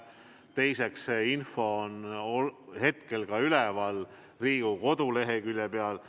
Teiseks, vastav info on hetkel üleval ka Riigikogu koduleheküljel.